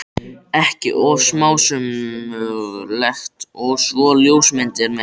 ekki of smásmugulegt- og svo ljósmyndir með.